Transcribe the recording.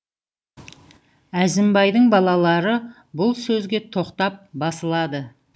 әзімбайдың балалары бұл сөзге тоқтап басылады